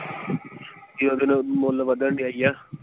ਕਿ ਓਹਦੇ ਨਾਲ ਮੁੱਲ ਵਧਣ ਡੇਆ ਹੀ ਆ।